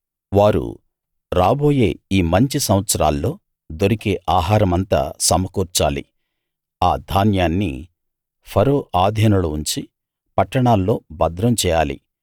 వారు రాబోయే ఈ మంచి సంవత్సరాల్లో దొరికే ఆహారమంతా సమకూర్చాలి ఆ ధాన్యాన్ని ఫరో ఆధీనంలో ఉంచి పట్టణాల్లో భద్రం చేయాలి